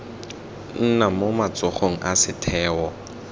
nna mo matsogong a setheo